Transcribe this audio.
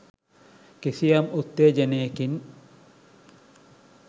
කිසියම් උත්තේජනයකින්